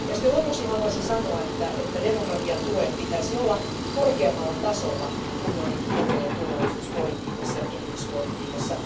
Lopuksi haluaisin sanoa, että demokratiatuen pitäisi olla korkeammalla tasolla unionin ulko ja turvallisuuspolitiikassa ja kehityspolitiikassa.